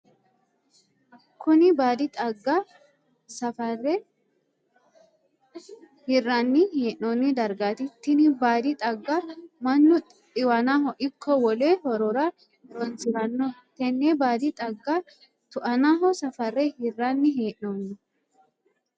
Kunni baadi xagga safare hiranni hee'noonni dargaati. Tinni baadi xagga mannu xiwannaho iko wole horora horoonsirano. Tenne baadi xagga tu'annaho safare hiranni hee'noonni.